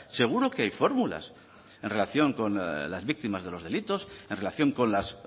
seguro que hay fórmulas en relación con las víctimas de los delitos en relación con las